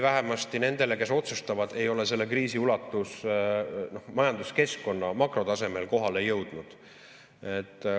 Vähemasti nendele, kes otsustavad, ei ole selle kriisi ulatus majanduskeskkonna makrotasemel kohale jõudnud.